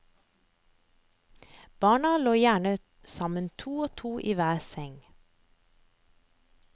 Barna lå gjerne sammen to og to i hver seng.